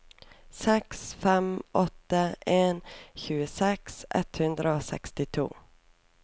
seks fem åtte en tjueseks ett hundre og sekstito